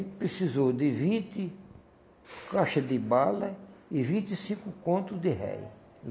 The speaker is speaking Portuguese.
precisou de vinte caixa de bala e vinte e cinco conto de réis.